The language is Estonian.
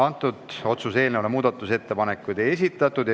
Selle otsuse eelnõu kohta muudatusettepanekuid ei esitatud.